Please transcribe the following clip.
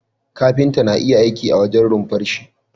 Kafinta na iya aiki a wajen runfarshi